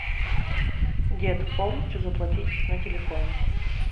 дед полностью заплатить на телефоне